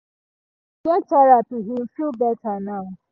him get therapy him feel better now